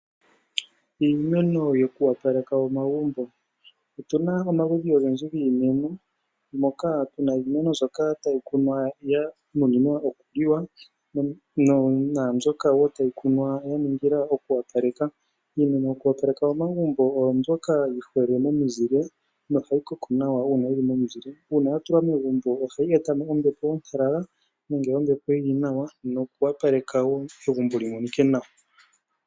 Iimeno yoku opaleka omagumbo. Otuna omaludhi ogendji giimeno moka tuna iimeno mbyoka tayi kunwa ya nuninwa okuliwa naambyoka wo tayi kunwa ya ningila okwoopaleka. Iimeno yoku opaleka momagumbo oyo mbyoka hayi mene momizile nohayi koko nawa uuna yili momizile. Uuna ya tulwa momagumbo ohayi eta mo ombepo ontalala nenge ombepo yili nawa noku opaleke wo egumbo li monike nawa.